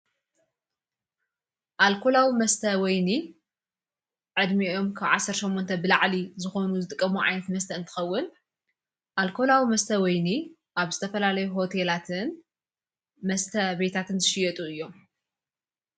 ኣልኮላዊ መስተ ወይኒ ዕድሚኦም ክብ ዓሠርሰሙንተ ብላዕሊ ዝኾኑ ዝጥቀምዋ ምዓይት መስተአን ትኸውል ኣልኮላው መስተ ወይኒ ኣብ ዝተፈላለይ ሁቴላትን መስተ ቤታትን ትሽየጡ እዮም።